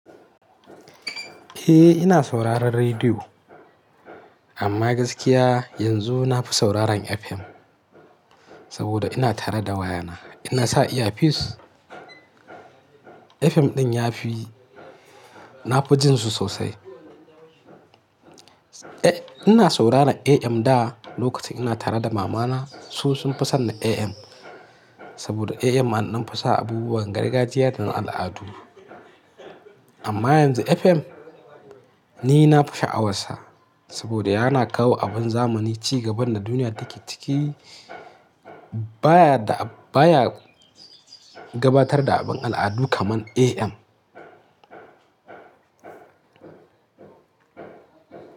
Eh ina sauraron rediyo amma gaskiya yanzu nafi sauraron FM saboda ina tare da wayana. Ina sa earpiece, FM ɗin ya fi, na fi jin su sosai. Eh ina sauraron AM da lokacin ina tare da mamana. Su sun fi son na AM saboda AM an dan fi sa abubuwan gargajiya da na al'adu. Amma yanzu FM ni na fi sha'awarsa saboda yana kawo abin zamani, ci gaban da duniya take ciki. Ba ya, ba ya gabatar da abin al'adu kamar AM.